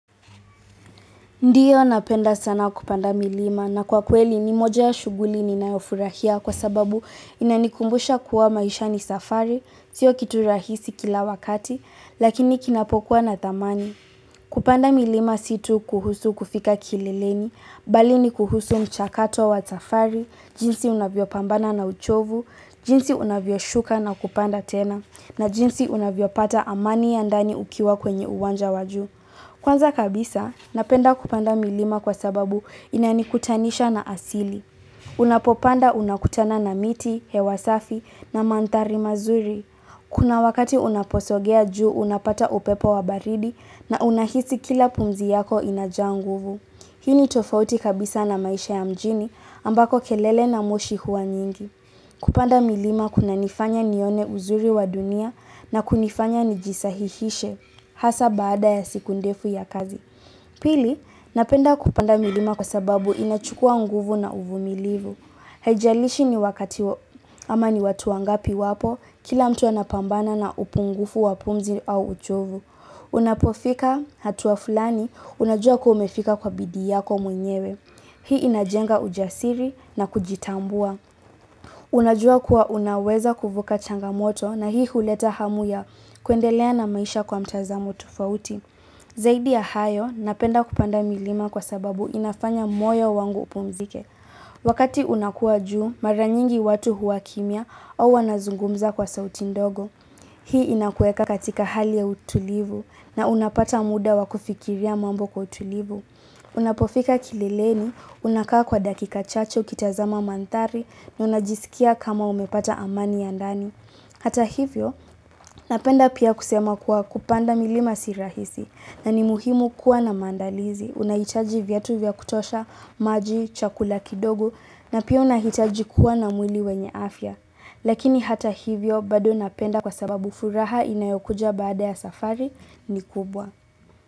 Ndiyo napenda sana kupanda milima na kwa kweli ni moja ya shughuli ninayofurahia kwa sababu inanikumbusha kuwa maisha ni safari, sio kitu rahisi kila wakati, lakini kinapokuwa na thamani. Kupanda milima si tu kuhusu kufika kileleni, bali ni kuhusu mchakato wa safari, jinsi unavyopambana na uchovu, jinsi unavyoshuka na kupanda tena, na jinsi unavyopata amani ya ndani ukiwa kwenye uwanja wa juu. Kwanza kabisa, napenda kupanda milima kwa sababu inanikutanisha na asili. Unapopanda unakutana na miti, hewa safi na mandhari mazuri. Kuna wakati unaposogea juu unapata upepo wa baridi na unahisi kila pumzi yako inajaa nguvu. Hii ni tofauti kabisa na maisha ya mjini ambako kelele na moshi huwa nyingi. Kupanda milima kunanifanya nione uzuri wa dunia na kunifanya nijisahihishe. Hasa baada ya siku ndefu ya kazi. Pili, napenda kupanda milima kwa sababu inachukua nguvu na uvumilivu. Haijalishi ni wakati wa, ama ni watu wangapi wapo, kila mtu anapambana na upungufu wa pumzi au uchovu. Unapofika hatua fulani, unajua kuwa umefika kwa bidii yako mwenyewe. Hii inajenga ujasiri na kujitambua. Unajua kuwa unaweza kuvuka changamoto na hii huleta hamu ya kuendelea na maisha kwa mtazamo tufauti. Zaidi ya hayo napenda kupanda milima kwa sababu inafanya moyo wangu upumzike. Wakati unakua juu, mara nyingi watu huwa kimya au wanazungumza kwa sauti ndogo. Hii inakuweka katika hali ya utulivu na unapata muda wa kufikiria mambo kwa utulivu. Unapofika kileleni unakaa kwa dakika chache ukitazama mandhari na unajisikia kama umepata amani ya ndani Hata hivyo napenda pia kusema kuwa kupanda milima si rahisi na ni muhimu kuwa na maandalizi, unahitaji vyatu vya kutosha maji, chakula kidogo na pia unahitaji kuwa na mwili wenye afya. Lakini hata hivyo bado napenda kwa sababu furaha inayokuja baada ya safari ni kubwa.